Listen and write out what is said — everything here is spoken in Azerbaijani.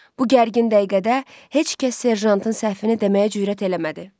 Bu gərgin dəqiqədə heç kəs serjantın səhfini deməyə cürət eləmədi.